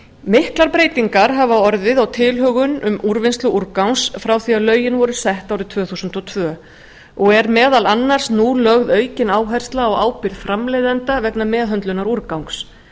miklar breytingar hafa orðið á tilhögun um úrvinnslu úrgangs frá því að lögin voru sett árið tvö þúsund og tvö og er meðal annars nú lögð aukin áhersla á ábyrgð framleiðenda vegna meðhöndlunar úrgangs